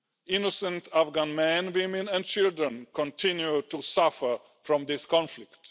Innocent Afghan men, women and children continue to suffer from this conflict.